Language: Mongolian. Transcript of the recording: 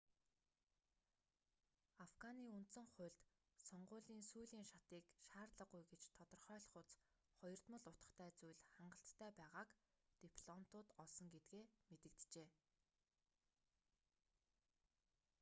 афганы үндсэн хуульд сонгуулийн сүүлийн шатыг шаардлагагүй гэж тодорхойлохуйц хоёрдмол утгатай зүйл хангалттай байгааг дипломтууд олсон гэдгээ мэдэгджээ